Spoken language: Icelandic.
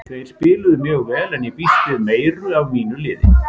Þeir spiluðu mjög vel en ég býst við meiru af mínu liði.